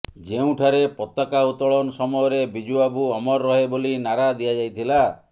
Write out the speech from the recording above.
ଯେଉଁଠାରେ ପତାକା ଉତ୍ତୋଳନ ସମୟରେ ବିଜୁବାବୁ ଅମର ରହେ ବୋଲି ନାରା ଦିଆଯାଇଥିଲା